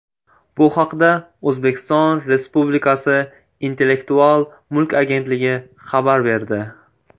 Bu haqda O‘zbekiston Respublikasi Intellektual mulk agentligi xabar berdi .